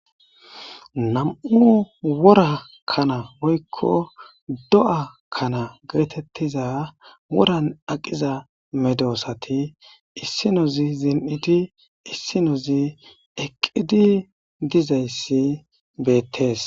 Nam'u wora kana oykko do'a kana geetettiza woran aqiza medoosati issinozi zin'idi issinozi eqqidi dizayssi beettees.